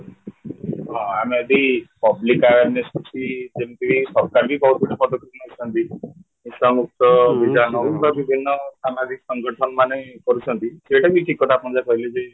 ଅମେବି public awareness ଅଛି ଯେମିତି କି ସରକାର ବି କହୁଛନ୍ତି ପଦକ୍ଷେପ ନଉଛନ୍ତି ନିଶାମୁକ୍ତ ଅଭିଯାନ ହଉ ବିଭିନ୍ନ ସାମାଜିକ ସଂଗଠନ ମାନେ କରୁଛନ୍ତି ସେଇଟାବି ଠିକକଥା ଆପଣ ଯାହା କହିଲେ